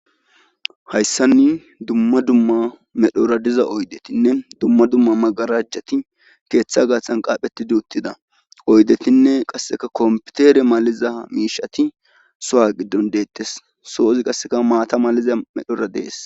Hayssanni dumma dumma medhora diza oydetinne dumma dumma magarajjati keeththa gaaxan qaaphetidi uttida oydetinne qasseka kompitere maliza miishati so7a giddon deettes soozi qasseka maata maliza medhora dees